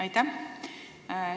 Aitäh!